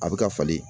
A bɛ ka falen